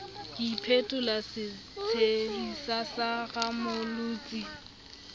ke iphetola setshehisa sa rammolotsi